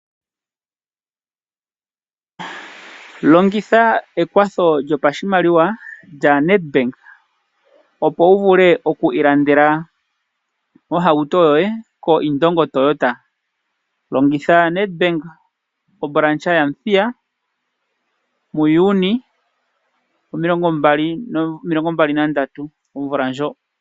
Longitha ekwatho lyopashimaliwa lyaNedbank opo wu vule oku ilandela ohauto yoye koIndongo Toyota. Longitha Nedbank obranch yaMuthiya muJuni omilongo mbali nomilongo mbali nandatu omvula ndjo.